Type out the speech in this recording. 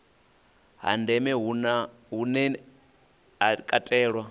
ha ndeme hune ha katela